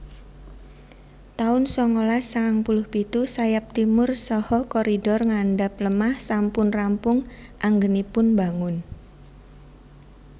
taun songolas sangang puluh pitu Sayap Timur saha koridor ngandhap lemah sampun rampung anggenipun bangun